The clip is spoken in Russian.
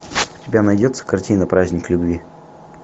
у тебя найдется картина праздник любви